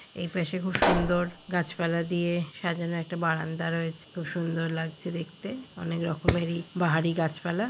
এই পাশে খুব সুন্দর গাছপালা দিয়ে সাজানো একটা বারান্দা রয়েছে খুব সুন্দর লাগছে দেখতে অনেক রকমেরই বাহারি গাছপালা।